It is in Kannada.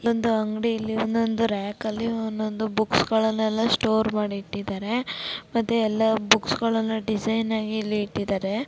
ಒಂದ ಅಂಗಡಿಯಲ್ಲಿ ರೆಕ್ ಅಲ್ಲಿ ಒಂದೊಂದು ಬುಕ್ಸ್ ಗಳಲ್ಲಿ--